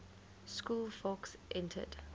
school fawkes entered